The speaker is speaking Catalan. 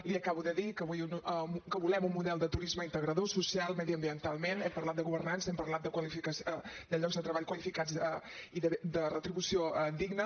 li acabo de dir que volem un model de turisme integrador socialment mediambientalment hem parlat de governança hem parlat de llocs de treball qualificats i de retribució digna